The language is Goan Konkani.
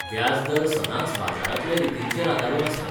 व्याजदर सदांच बाजारांतल्या रितींचेर आदारून आसता.